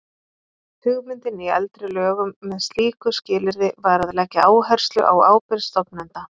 Hugmyndin í eldri lögum með slíku skilyrði var að leggja áherslu á ábyrgð stofnenda.